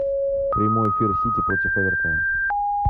прямой эфир сити против эвертона